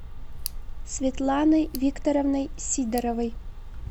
светланой викторовной сидоровой